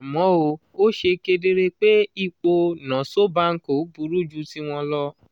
àmọ́ ó ṣe kedere pé ipò o nosso banco burú ju tiwọn lọ.